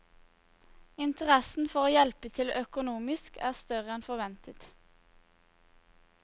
Interessen for å hjelpe til økonomisk er større enn forventet.